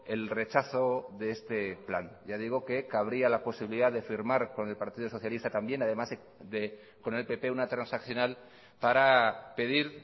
el rechazo de este plan ya digo que cabría la posibilidad de firmar con el partido socialista también además de con el pp una transaccional para pedir